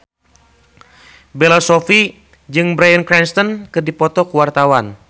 Bella Shofie jeung Bryan Cranston keur dipoto ku wartawan